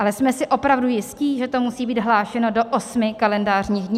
Ale jsme si opravdu jistí, že to musí být hlášeno do osmi kalendářních dní?